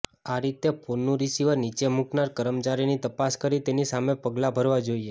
આ રીતે ફોનનું રિસિવર નીચે મુકનાર કર્મચારીની તપાસ કરી તેની સામે પગલા ભરવા જોઇએ